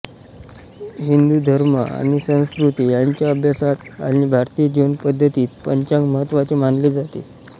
हिंदू धर्म आणि संस्कृती यांच्या अभ्यासात आणि भारतीय जीवन पद्धतीत पंचांग महत्त्वाचे मानले जाते